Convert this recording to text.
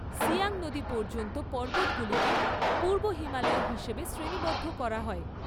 সিয়াং নদী পর্যন্ত পর্বতগুলিকে পূর্ব হিমালয় হিসেবে শ্রেণীবদ্ধ করা হয়।